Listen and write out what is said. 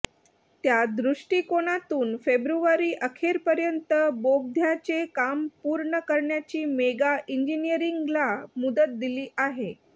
त्यादृष्टिकोनातून फेब्रुवारीअखेरपर्यंत बोगद्याचे काम पूर्ण करण्याची मेगा इंजिनिअरिंगला मुदत दिली आहे